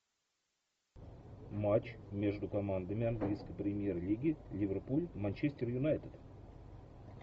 матч между командами английской премьер лиги ливерпуль манчестер юнайтед